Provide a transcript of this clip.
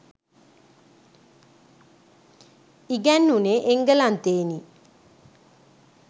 ඉගැන්වුණේ එංගලන්තයෙනි.